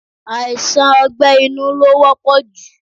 Aisan ọgbẹ́ inú lo wọ́pọ̀ ju